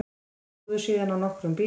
Þeir flúðu síðan á nokkrum bílum